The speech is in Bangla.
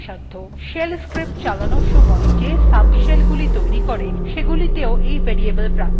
shell scripts চালানোর somoy shells যে subshellগুলি তৈরী করে সেগুলিতেও এই variable প্রাপ্তিসাধ্য